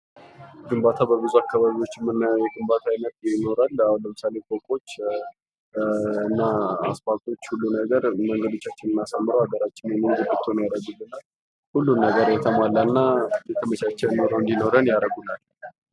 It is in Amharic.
ግንባታ በብዙ አካባቢዎች የምናየው የግንባታ ዓይነት ይኖራል አሁን ለምሳሌ ፎቆች እናአስፓልቶች ሁሉም ነገር መንገዶቻችን አሳምረው ሀገራችንን የምታምር ሁሉ ነገር የተመቻችና እንዲኖረን ያደርጉልናል